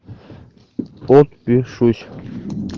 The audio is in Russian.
подпишусь